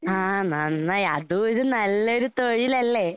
ആഹ് നന്നായി. അതുവൊരു നല്ലൊരു തൊഴിലല്ലേ?